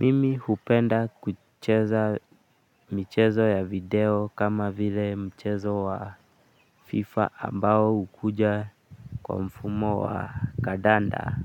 Mimi hupenda kucheza michezo ya video kama vile mchezo wa fifa ambao hukuja kwa mfumo wa kandanda